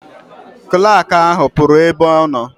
Klak ahụ pụrụ ebe ọ nọ.